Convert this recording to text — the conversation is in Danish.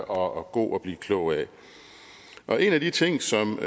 og god at blive klog af en af de ting som